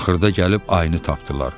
Axırda gəlib ayını tapdılar.